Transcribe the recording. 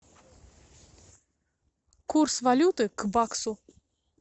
курс валюты к баксу